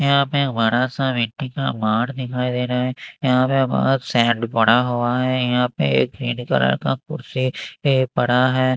यहां पे एक बड़ा सा मिट्टी का पहाड़ दिखाई दे रहा है यहां पे बोहोत सैंड पड़ा हुआ है यहां पे एक ग्रीन कलर का कुर्सी पड़ा है।